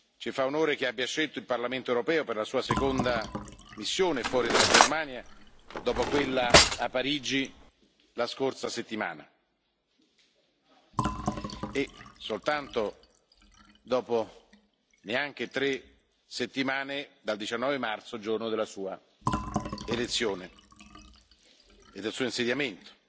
Ci fa onore che abbia scelto il Parlamento europeo per la Sua seconda missione fuori dalla Germania, dopo quella a Parigi la scorsa settimana e dopo neanche tre settimane dal 19 marzo, giorno del Suo insediamento.